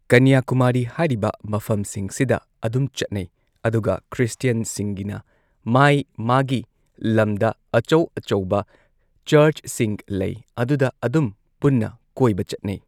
ꯀꯟꯌꯥ ꯀꯨꯃꯥꯔꯤ ꯍꯥꯏꯔꯤꯕ ꯃꯐꯝꯁꯤꯡ ꯁꯤꯗ ꯑꯗꯨꯝ ꯆꯠꯅꯩ ꯑꯗꯨꯒ ꯈ꯭ꯔꯤꯁꯇꯤꯌꯟ ꯁꯤꯡꯒꯤꯅ ꯃꯥꯏ ꯃꯥꯒꯤ ꯂꯝꯗ ꯑꯆꯧ ꯑꯆꯧꯕ ꯆꯔꯁꯁꯤꯡ ꯂꯩ ꯑꯗꯨꯗ ꯑꯗꯨꯝ ꯄꯨꯟꯅ ꯀꯣꯏꯕ ꯆꯠꯅꯩ